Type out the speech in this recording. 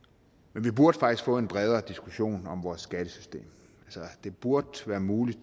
men vi burde faktisk få en bredere diskussion om vores skattesystem det burde være muligt